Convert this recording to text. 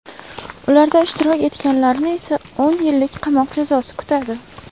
Ularda ishtirok etganlarni esa o‘n yillik qamoq jazosi kutadi.